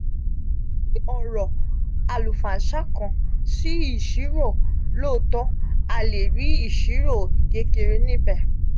oro alufansa kan si isiro looto a le ri isiro kekere nibe.